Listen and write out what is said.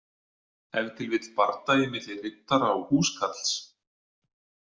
Ef til vill bardagi milli riddara og húskarls.